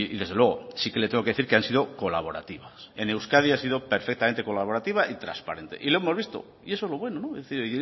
desde luego sí que le tengo que decir que han sido colaborativas en euskadi han sido perfectamente colaborativa y trasparente y lo hemos visto y eso es lo bueno es decir